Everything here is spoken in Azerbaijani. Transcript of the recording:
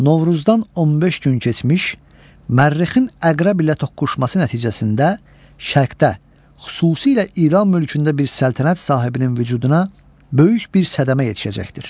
Novruzdan 15 gün keçmiş Mərrixin Əqrəb ilə toqquşması nəticəsində şərqdə, xüsusilə İran mülkündə bir səltənət sahibinin vücuduna böyük bir sədəmi yetişəcəkdir.